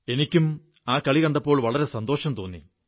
എനിക്കും കണ്ടപ്പോൾ വളരെ സന്തോഷം തോന്നി